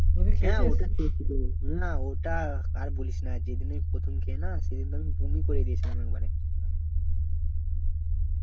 ওটা খেয়েছি তো না ওটা আর বলিস না যে দিন প্রথম খেয়ে না সে দিন আমি বমি করে দিয়েছিলাম একেবারে